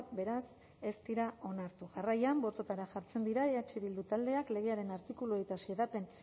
beraz ez dira onartu jarraian bototara jartzen dira eh bildu taldeak legearen artikuluei eta